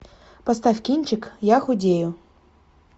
поставь кинчик я худею